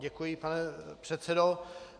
Děkuji, pane předsedo.